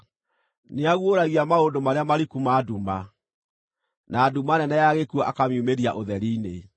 Nĩaguũragia maũndũ marĩa mariku ma nduma, na nduma nene ya gĩkuũ akamiumĩria ũtheri-inĩ.